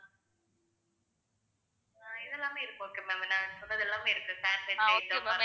இதெல்லாமே இருக்கு okay ma'am நான் சொன்னதெல்லாமே இருக்கு sandwich item